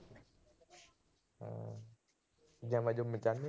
Gym ਜੂਮ ਜਾਣੇ ਓ।